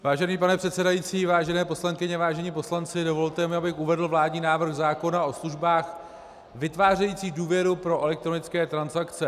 Vážený pane předsedající, vážené poslankyně, vážení poslanci, dovolte mi, abych uvedl vládní návrh zákona o službách vytvářejících důvěru pro elektronické transakce.